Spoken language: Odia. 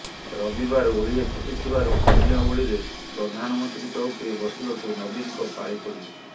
ରବିବାର ଓଳିଏ ଛୁଟି ଥିବାରୁ ଅନ୍ୟ ଓଳିରେ ପ୍ରଧାନମନ୍ତ୍ରୀ ଚଉକିରେ ବସିବାକୁ ନବୀନଙ୍କ ପାଳି ପଡିବ